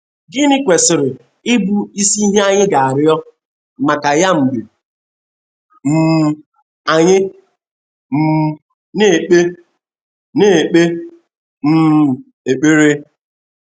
Gịnị kwesịrị ịbụ isi ihe anyị ga - arịọ maka ya mgbe um anyị um na - ekpe na - ekpe um ekpere?